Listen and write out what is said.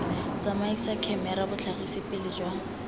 tsamaisa khemera botlhagisi pele jwa